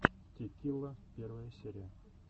ти килла первая серия